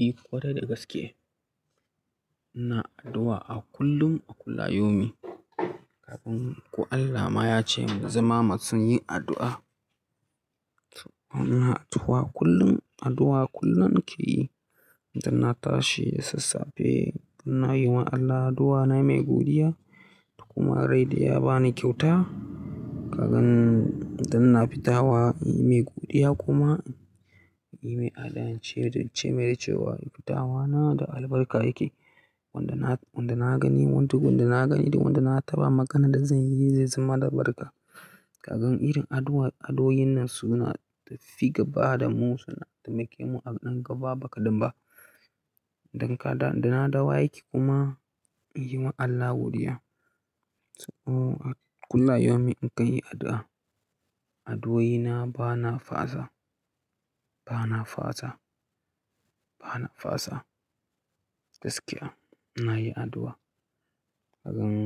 Eh, ƙwarai da gaske. Ina addu'a a kullum, a kulla yaumi. Ku Allah ma ya ce mu zama masu yin addu'a. To ina tuwa kullum addu'a kullum nake yi. Dan na tashi da sassafe ina yi wa Allah addu'a na yi mai godiya da kuma rai da ya ba ni kyauta. Kagan idan ina fita wa inyi mai godiya kuma yi mai adana ce da ce mai da cewa fitawa na da albarka yake. Wanda na, wanda na gani wani tukun na gani da wanda na taɓa magana da zan yi zai zama da albarka. Kagan irin addu'a, adduoin nan suna tafiga ba da mu suna taimake mu a ɗan gaba baƙaɗan ba. Dan kada dana dawo aiki kuma in yi wa Allah godiya. To a kullayaumi in kan yi addu'a, addu'oi na ba na fasa, ba na fasa, ba na fasa. Gaskiya ina yi addu'a. Kagan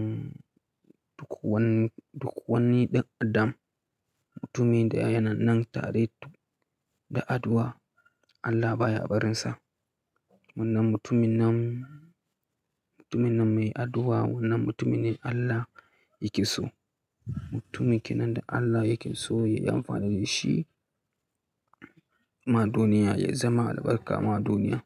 duk wani, duk wani ɗan adam mutumin da ya yan nan tare da addu'a Allah baya barinsa. Wannan mutumin nan, mutumin nan mai addu'a wannan mutumin ne Allah yake so. Mutumin ke nan da Allah yake so yayi amfani da shi ma duniya yayi zama albarka ma duniya.